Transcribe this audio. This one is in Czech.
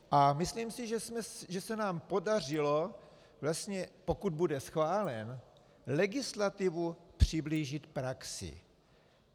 A myslím si, že se nám podařilo vlastně, pokud bude schválen, legislativu přiblížit praxi.